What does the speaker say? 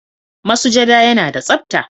Masujada yana da tsapta,